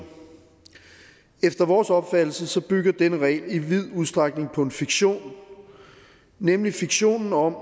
efter vores opfattelse så bygger den regel i vid udstrækning på en fiktion nemlig fiktionen om